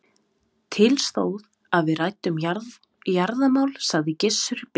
Til stóð að við ræddum jarðamál, sagði Gizur biskup.